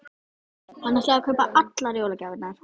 Hann ætlar að kaupa allar jólagjafirnar.